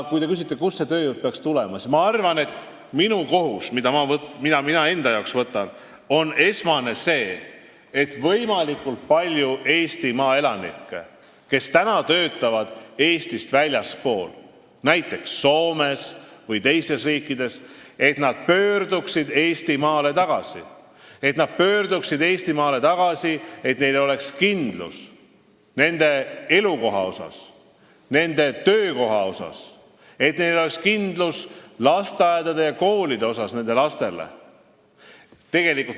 Kui te küsite, kust see tööjõud peaks tulema, siis ma arvan, et minu esmane kohus, mille ma endale võtan, on kaasa aidata sellele, et võimalikult palju Eestimaa elanikke, kes täna töötavad Eestist väljaspool, näiteks Soomes või teistes riikides, pöörduks Eestimaale tagasi ja neil oleks kindlus, et neil on elukoht ja töökoht ning lastel lasteaia- ja koolikoht.